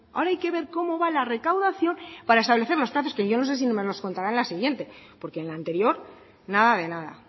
ahora hay que ver cómo va la recaudación para establecer los plazos que yo no sé si nos lo contará en la siguiente porque en la anterior nada de nada